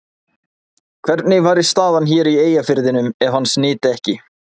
Hvernig væri staðan hér í Eyjafirðinum ef hans nyti ekki?